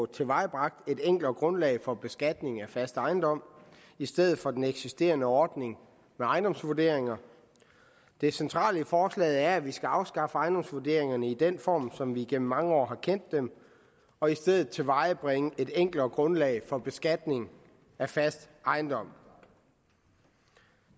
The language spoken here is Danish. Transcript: tilvejebragt et enklere grundlag for beskatning af fast ejendom i stedet for den eksisterende ordning med ejendomsvurderinger det centrale i forslaget er at vi skal afskaffe ejendomsvurderingerne i den form som vi igennem mange år og i stedet tilvejebringe et enklere grundlag for beskatning af fast ejendom